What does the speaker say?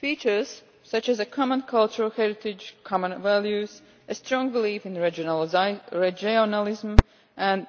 Features such as a common cultural heritage, common values, a strong belief in regionalism and